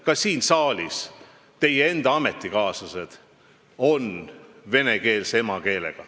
Ka siin saalis on teie enda ametikaaslasi vene emakeelega.